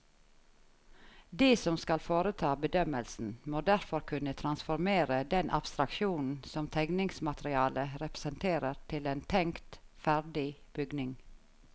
De som skal foreta bedømmelsen, må derfor kunne transformere den abstraksjonen som tegningsmaterialet representerer til en tenkt ferdig bygning.